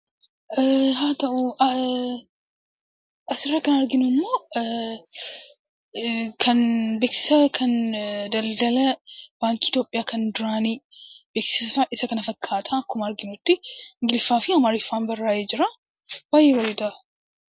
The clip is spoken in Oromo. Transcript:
Asirraa kan arginummoo kan beeksisa baankii daldalaa Itoophiyaa kan duraanii beeksifni isaa kana fakkaata akkuma argaa jirrutti ingliffaa fi amaariffaan barraayee jira. Baay'ee bareeda.